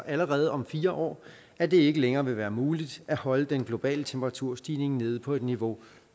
allerede om fire år at det ikke længere vil være muligt at holde den globale temperaturstigning nede på et niveau